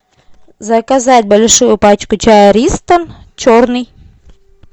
заказать большую пачку чая ристон черный